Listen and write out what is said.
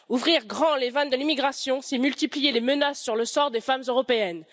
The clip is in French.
Ouvrir grand les vannes de l'immigration, c'est multiplier les menaces sur le sort des femmes européennes